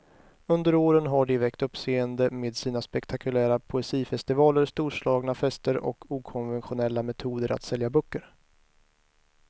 Under åren har de väckt uppseende med sina spektakulära poesifestivaler, storslagna fester och okonventionella metoder att sälja böcker.